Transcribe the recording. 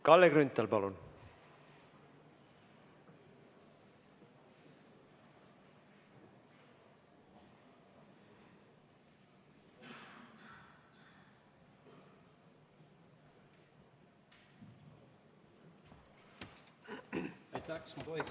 Kalle Grünthal, palun!